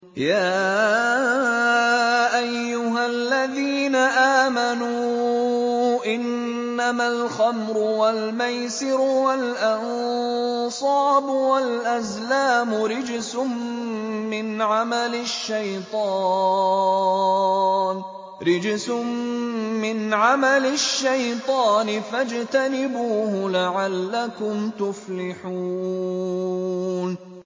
يَا أَيُّهَا الَّذِينَ آمَنُوا إِنَّمَا الْخَمْرُ وَالْمَيْسِرُ وَالْأَنصَابُ وَالْأَزْلَامُ رِجْسٌ مِّنْ عَمَلِ الشَّيْطَانِ فَاجْتَنِبُوهُ لَعَلَّكُمْ تُفْلِحُونَ